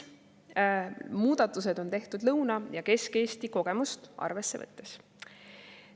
Muudatused on tehtud Lõuna‑ ja Kesk-Eesti kogemust arvesse võttes.